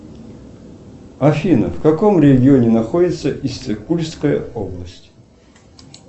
афина в каком регионе находится иссык кульская область